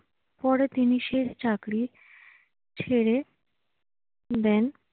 পরে তিনি সেই চাকরি ছেড়ে দেন।